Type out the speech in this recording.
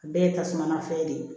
Bɛɛ ye tasuma fɛn de ye